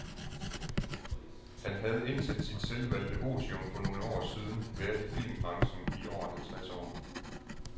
Han havde indtil sit selvvalgte otium for nogle år siden været i filmbranchen i over halvtreds år.